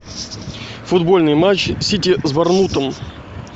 футбольный матч сити с борнмутом